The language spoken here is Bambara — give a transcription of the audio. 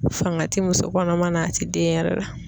Fanga ti muso kɔnɔma na a ti den yɛrɛ la.